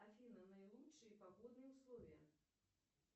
афина наилучшие погодные условия